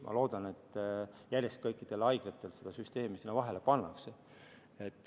Ma loodan, et kõikides haiglates see süsteem sinna vahele pannakse.